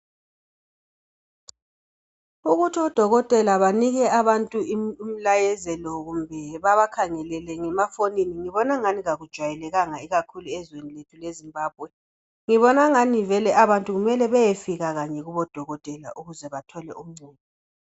Ukuthi odokotela banike abantu imlayezelo kumbe bebakhangelele ngemafonini ngibona ngani akujwayelakanga ikakhulu ezweni lethu leZimbabwe ngibona ngani vele abantu mele beyefika kanye kubodokotela ukuze bethole okungcono